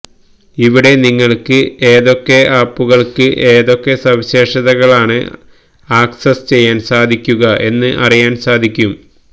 ഇവിടെ നിങ്ങള്ക്ക് ഏതൊക്കെ ആപുകള്ക്ക് ഏതൊക്കെ സവിശേഷതകളാണ് ആക്സസ്സ് ചെയ്യാന് സാധിക്കുക എന്ന് അറിയാന് സാധിക്കും